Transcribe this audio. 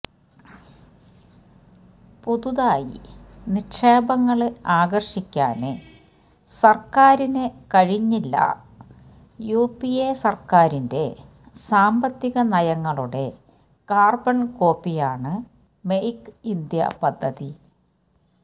പുതുതായി നിക്ഷേപങ്ങള് ആകര്ഷിക്കാന് സര്ക്കാരിന് കഴിഞ്ഞില്ല യുപിഎ സര്ക്കാരിന്റെ സാമ്പത്തികനയങ്ങളുടെ കാര്ബണ് കോപ്പിയാണ് മെയ്ക്ക് ഇന്ത്യ പദ്ധതി